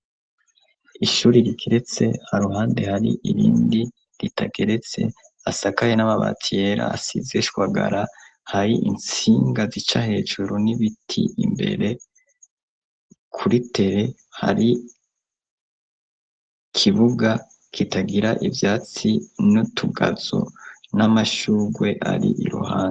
Ishuri rigeretse aruhande hari irindi ritageretse asakaye n'amabati yera asize ishwagara hari itsinga zica hejuro n'ibiti imbere kuri tere hari kibuga kitagira ivyatsi n'utugazo n'amashugwe ari iruhande.